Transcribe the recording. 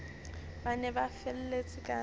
ba ne ba felletse ka